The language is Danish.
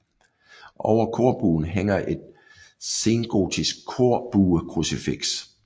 Over korbuen hænger et sengotisk korbuekrucifiks